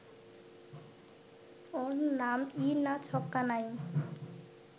ওর নামই না ছক্কা-নাইম